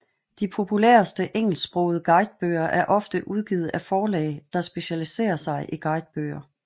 De populæreste engelsksprogede guidebøger er ofte udgivet af forlag der specialisere sig i guidebøger